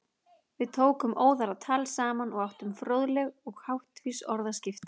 Við tókum óðara tal saman og áttum fróðleg og háttvís orðaskipti.